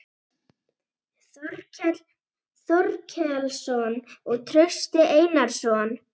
Þorkell Þorkelsson og Trausti Einarsson.